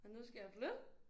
Og nu skal jeg flytte